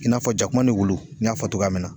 I n'a fɔ jakuma ni wulu n y'a fɔ togoya min na.